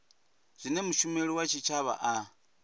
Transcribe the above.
zwine mushumeli wa tshitshavha a